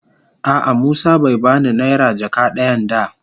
A'a musa bai ba ni naira jaka dayan da.